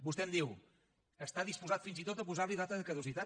vostè em diu està disposat fins i tot a posarli data de caducitat